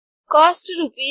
cost rupees